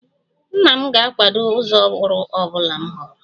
Nna m ga-akwado ụzọ ọrụ ọ bụla m họọrọ